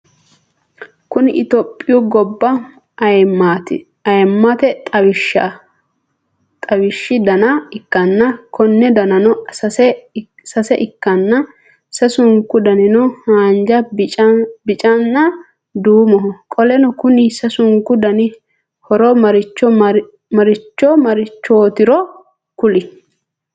Kuni itiyoopiyu gobba ayiimate xawishshi ? dana ikkanna Konni danino sase ikkanna sasunku danino haanjja biccanna duumoho qoleno Konni sasunku Dani horo maricho marichootiro kuli